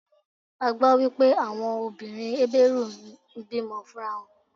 A gbó wípé àwọn obìnrin Hébérù ń bí mọ fún ra wọn.